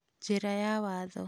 Njĩra ya watho.